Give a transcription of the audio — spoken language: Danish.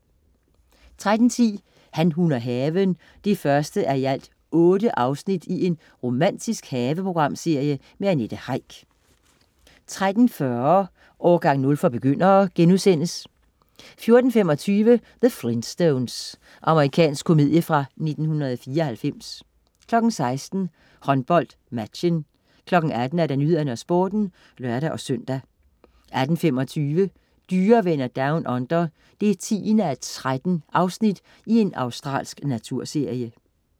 13.10 Han, hun og haven 1:8 Romantisk haveprogram med Annette Heick 13.40 Årgang 0 for begyndere* 14.25 The Flintstones. Amerikansk komedie fra 1994 16.00 HåndboldMatchen 18.00 Nyhederne og Sporten (lør-søn) 18.25 Dyrevenner Down Under 10:13. Australsk naturserie